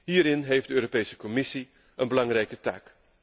Hierin heeft de Europese Commissie een belangrijke taak.